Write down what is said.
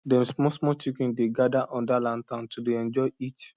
dem smallsmall chicken dey gather under lantern to dey enjoy heat